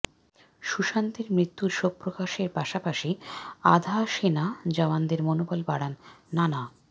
সুশান্তের মৃত্যুর শোকপ্রকাশের পাশাপাশি আধা সেনা জওয়ানদের মনোবল বাড়ান নানা